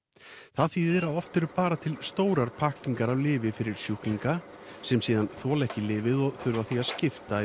það þýðir að oft eru bara til stórar pakkningar af lyfi fyrir sjúklinga sem síðan þola ekki lyfið og þurfa því að skipta